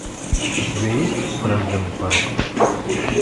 у тебя есть врожденный порок